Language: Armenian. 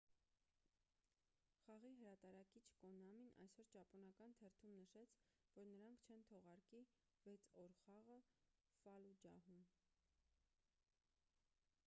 խաղի հրատարակիչ կոնամին այսօր ճապոնական թերթում նշեց որ նրանք չեն թողարկի վեց օր խաղը ֆալլուջահում